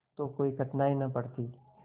तो कोई कठिनाई न पड़ती